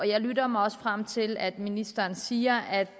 jeg lytter mig også frem til at ministeren siger at